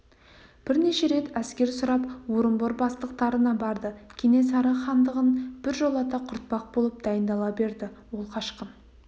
бірнеше рет әскер сұрап орынбор бастықтарына барды кенесары хандығын біржолата құртпақ болып дайындала берді ол қашқын